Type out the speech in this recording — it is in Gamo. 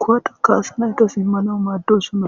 kuwata kaasanayta simmano maaddosonna.